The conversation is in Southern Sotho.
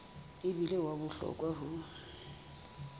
e bile wa bohlokwa ho